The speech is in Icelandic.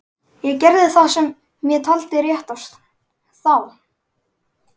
Ég gerði það sem ég taldi réttast. þá.